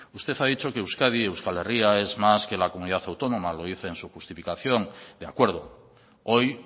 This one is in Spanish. usted ha dicho que euskadi euskal herria es más que la comunidad autónoma lo dice en su justificación de acuerdo hoy